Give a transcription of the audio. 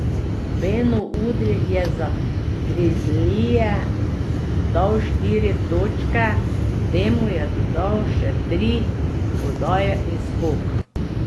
Beno Udrih je za grizlije dal štiri točke, temu je dodal še tri podaje in skok.